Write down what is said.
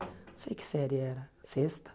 Não sei que série era, sexta?